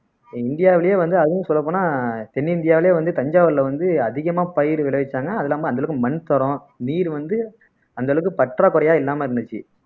இந்தியாவிலேயே வந்து அதுவும் சொல்லப் போனா தென்னிந்தியாவிலேயே வந்து தஞ்சாவூர்ல வந்து அதிகமா பயிர் விளைவிச்சாங்க அது இல்லாம அந்த அளவுக்கு மண் தரம் நீர் வந்து அந்த அளவுக்கு பற்றாக்குறையா இல்லாம இருந்துச்சு